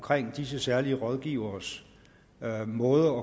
disse særlige rådgiveres måde